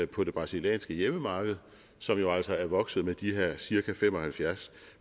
på det brasilianske hjemmemarked som jo altså er vokset med de her cirka fem og halvfjerds